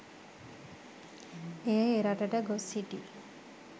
එය එරටට ගොස් සිටි